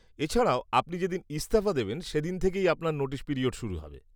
এছাড়াও, আপনি যেদিন ইস্তফা দেবেন সেদিন থেকেই আপনার নোটিশ পিরিয়ড শুরু হবে।